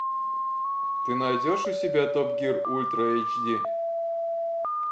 ты найдешь у себя топ гир ультра эйч ди